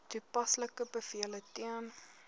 toepaslike bevele ten